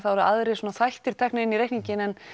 þá eru aðrir svona þættir teknir inn í reikninginn en